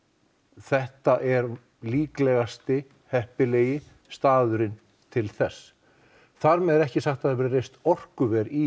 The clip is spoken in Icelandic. þetta er líklegasti heppilegasti staðurinn til þess þar með er ekki sagt að það verði reist orkuver í